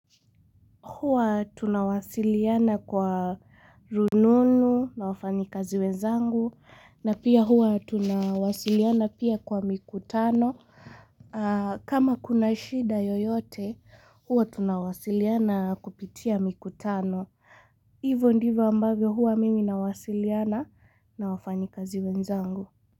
Huwa tunawasiliana kwa rununu na wafanyikazi wenzangu na pia huwa tunawasiliana pia kwa mikutano. Kama kuna shida yoyote huwa tunawasiliana kupitia mikutano. Hivo ndivo ambavyo huwa mimi nawasiliana na wafanyi kazi wenzangu.